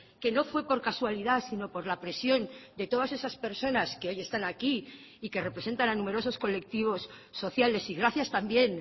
que no fue por casualidad sino por la presión de todas esas personas que hoy están aquí y que representan a numerosos colectivos sociales y gracias también